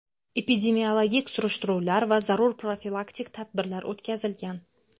Epidemiologik surishtiruvlar va zarur profilaktik tadbirlar o‘tkazilgan.